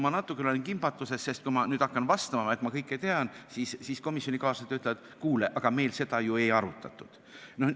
Ma natukene olen kimbatuses, sest kui ma nüüd hakkan vastama, et ma kõike tean, siis komisjonikaaslased ütlevad, et kuule, meil seda ju ei arutatud.